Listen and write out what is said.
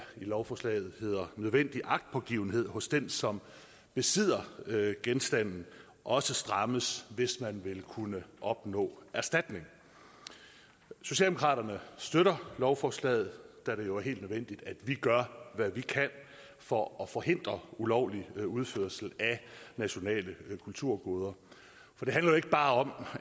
i lovforslaget hedder nødvendig agtpågivenhed hos den som besidder genstanden også strammes hvis man vil kunne opnå erstatning socialdemokraterne støtter lovforslaget da det jo er helt nødvendigt at vi gør hvad vi kan for at forhindre ulovlig udførsel af nationale kulturgoder for det handler jo ikke bare om